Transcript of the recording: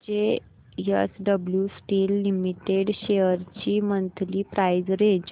JSW steel limited shares ची monthly price range